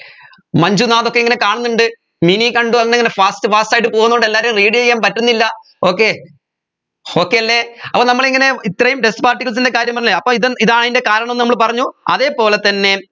മഞ്ജുനാഥ് ഒക്കെ ഇങ്ങനെ കാണുന്നുണ്ട് മിനി കണ്ടു ഒന്നിങ്ങനെ fast fast ആയിട്ട് പോവുന്നുണ്ട് എല്ലാരേം read ചെയ്യാൻ പറ്റുന്നില്ല okay okay അല്ലെ അപ്പൊ നമ്മൾ ഇങ്ങനെ ഇത്രയും dust particles ൻറെ കാര്യം പറഞ്ഞില്ലേ അപ്പോ ഇതും ഇതാണതിൻെറ കാരണം എന്ന് നമ്മൾ പറഞ്ഞു അതേപോലെ തന്നെ